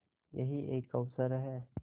यही एक अवसर है